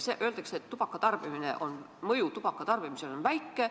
Öeldakse, et mõju tubaka tarbimisele on väike.